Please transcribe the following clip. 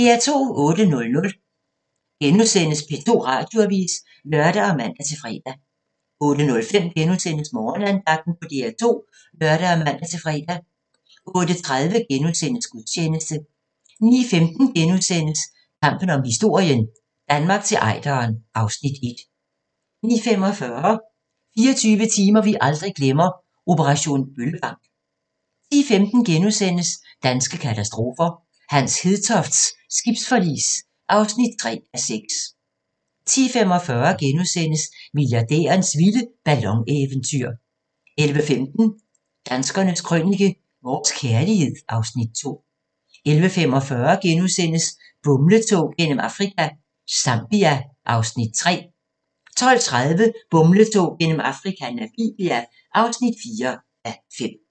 08:00: P2 Radioavis *(lør og man-fre) 08:05: Morgenandagten på DR2 *(lør og man-fre) 08:30: Gudstjeneste * 09:15: Kampen om historien - Danmark til Ejderen (Afs. 1)* 09:45: 24 timer, vi aldrig glemmer - operation Bøllebank 10:15: Danske katastrofer – Hans Hedtofts' skibsforlis (3:6)* 10:45: Milliardærens vilde ballon-eventyr * 11:15: Danskernes krønike – Vores kærlighed (Afs. 2) 11:45: Bumletog gennem Afrika – Zambia (3:5)* 12:30: Bumletog gennem Afrika - Namibia (4:5)